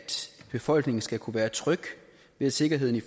befolkningen skal kunne være tryg ved sikkerheden